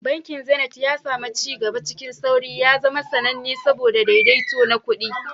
Bankin Zenith, ya sami ci gaba cikin sauri, ya zama sananne saboda daidaito na kuɗi.